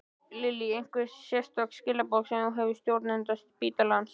Lillý: Einhver sérstök skilaboð sem þú hefur til stjórnenda spítalans?